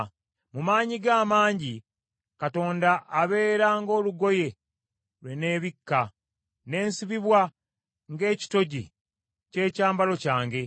Mu maanyi ge amangi Katonda abeera ng’olugoye lwe nneebikka, n’ensibibwa ng’ekitogi ky’ekyambalo kyange.